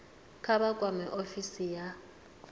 kha vha kwame ofisi ya